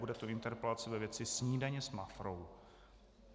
Bude to interpelace ve věci snídaně s Mafrou.